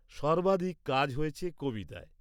-সর্বাধিক কাজ হয়েছে কবিতায়।